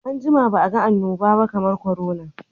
An jima ba a ga annobaba kamar korona.